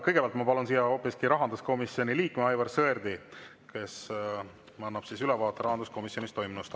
Kõigepealt ma palun siia hoopiski rahanduskomisjoni liikme Aivar Sõerdi, kes annab ülevaate rahanduskomisjonis toimunust.